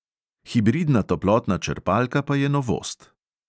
Hibridna toplotna črpalka pa je novost.